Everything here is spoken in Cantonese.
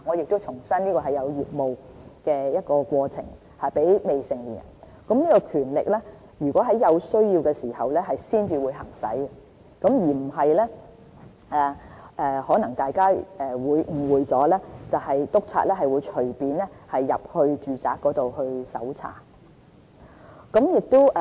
我再重申，這是針對在業務過程中的行為，這權力並且會在有需要時才會行使，而非大家可能誤會了督察可以隨意進入住宅搜查。